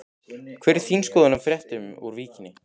Hver er þín skoðun á fréttunum úr Víkinni?